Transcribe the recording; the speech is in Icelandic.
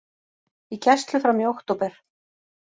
Í gæslu fram í október